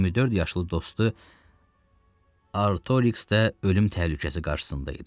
24 yaşlı dostu Artoriks də ölüm təhlükəsi qarşısında idi.